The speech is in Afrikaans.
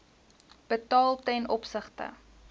betaal ten opsigte